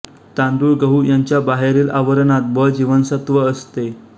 तांदूळ गहू यांच्या बाहेरील आवरणात ब जीवनसत्व असते